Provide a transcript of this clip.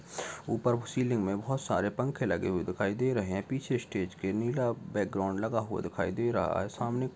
ऊपर को सीलिंग में बहुत सारे पंखे लगे हुए दिखाई दे रहे हैं। पीछे स्टेज के नीला बैकग्राउंड लगा हुआ दिखाई दे रहा है। सामने कुर्सी --